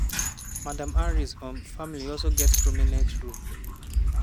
madam harris um family also get prominent role.